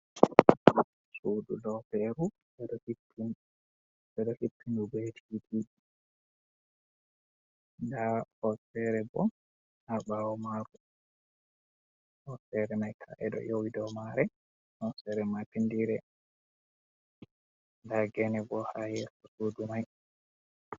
Sudu loferu, ndu ɗo hippi. Ɓe ɗo hippindu be titiji. Nda hoosere bo ha ɓaawo maaru. Hoosere mai ka'e ɗo yowi dou maare, hoosere maapindire. Nda gene bo ha yeso sudu mai.